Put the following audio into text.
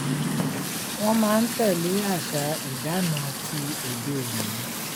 Won maa ntele asa idana ti ode oni.